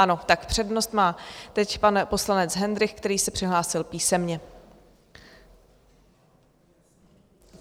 Ano, tak přednost má teď pan poslanec Hendrych, který se přihlásil písemně.